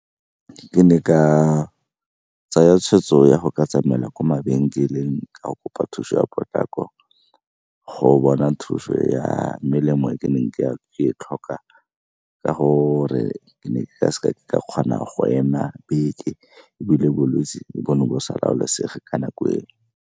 Ke ne ka tsaya tshweetso ya go ka tsamaela ko mabenkeleng ka go kopa thuso ya potlako go bona thuso ya melemo ke neng ke e tlhoka, ka gore ke ne ka seka ka kgona go ema beke ebile bolwetse bo ne bo sa laolesege ka nako eo.